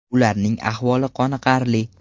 Ularning ahvoli qoniqarli.